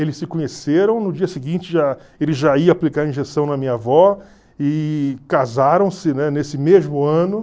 Eles se conheceram, no dia seguinte já ele já ia aplicar a injeção na minha avó e casaram-se, né? Nesse mesmo ano.